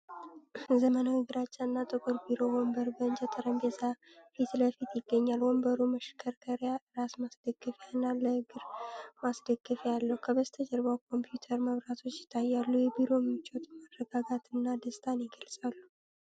ዘመናዊ ግራጫ እና ጥቁር ቢሮ ወንበር በእንጨት ጠረጴዛ ፊት ለፊት ይገኛል። ወንበሩ መሽከርከሪያ፣ ራስ ማስደገፊያ እና ለእግር ማስደገፊያ አለው። ከበስተጀርባው ኮምፒውተርና መብራቶች ይታያሉ። የቢሮው ምቾት መረጋጋትንና ደስታን ይገልጻል።